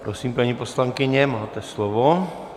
Prosím, paní poslankyně, máte slovo.